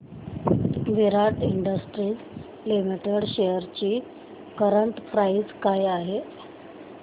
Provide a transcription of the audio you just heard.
विराट industries limited shares ची current price काय आहे